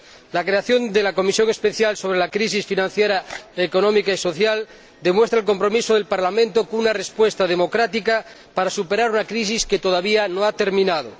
La creación de la Comisión Especial sobre la Crisis Financiera, Económica y Social demuestra el compromiso del Parlamento, con una respuesta democrática, para superar una crisis que todavía no ha terminado.